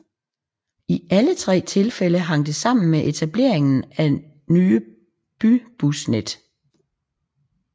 I alle tre tilfælde hang det sammen med etableringen af nye bybusnet